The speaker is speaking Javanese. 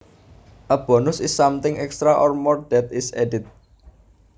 A bonus is something extra or more that is added